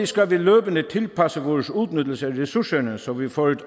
skal vi løbende tilpasse vores udnyttelse af ressourcerne så vi får et